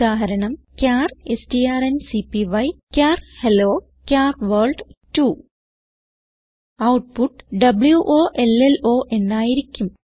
ഉദാഹരണം ചാർ strncpyചാർ hello char world 2 output വോളോ എന്നായിരിക്കും